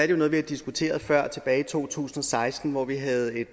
jo noget vi har diskuteret før nemlig tilbage i to tusind og seksten hvor vi havde et